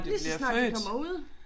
Lige så snart de kommer ud